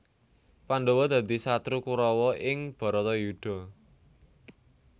Pandhawa dadi satru Kurawa ing Bharatayudha